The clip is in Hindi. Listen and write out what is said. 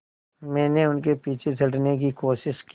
मैंने उनके पीछे चढ़ने की कोशिश की